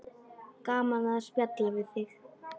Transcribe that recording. Gaman að spjalla við þig.